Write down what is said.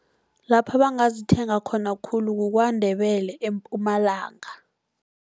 Lapha bangazithenga khona khulu kuKwandebele eMpumalanga.